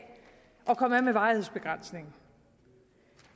at komme af med varighedsbegrænsningen